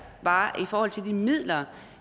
bare i forhold til de midler